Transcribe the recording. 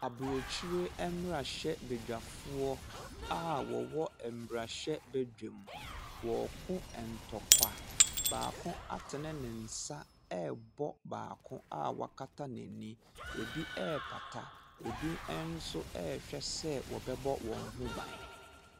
Abrokyire mmrahyɛbedwafoɔ a wɔwɔ marahyɛbadwuam, wɔreko ntɔkwa. Baako atene ne nsa rebɔ baako a wakata n'ani. Ebi repata. Ebi nso rehwɛ sɛ wɔbɛbɔ wɔn ho ban.